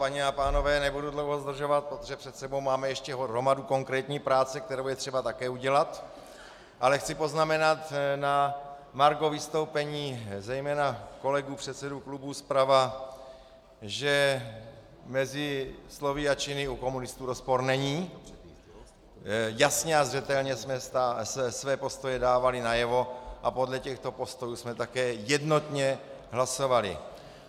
Paní a pánové, nebudu dlouho zdržovat, protože před sebou máme ještě hromadu konkrétní práce, kterou je třeba také udělat, ale chci poznamenat na margo vystoupení zejména kolegů předsedů klubů zprava, že mezi slovy a činy u komunistů rozpor není, jasně a zřetelně jsme své postoje dávali najevo a podle těchto postojů jsme také jednotně hlasovali.